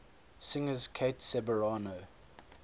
singers kate ceberano